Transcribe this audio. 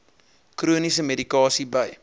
chroniese medikasie by